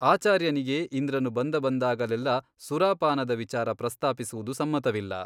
ಆಚಾರ್ಯನಿಗೆ ಇಂದ್ರನು ಬಂದಬಂದಾಗಲೆಲ್ಲ ಸುರಾಪಾನದ ವಿಚಾರ ಪ್ರಸ್ತಾಪಿಸುವುದು ಸಮ್ಮತವಿಲ್ಲ.